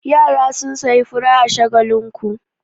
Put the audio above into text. Yara sun sayi fura a Shagakinku.